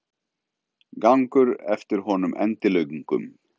Gangur eftir honum endilöngum.